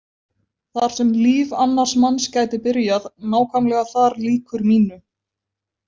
Þar sem líf annars manns gæti byrjað, nákvæmlega þar lýkur mínu.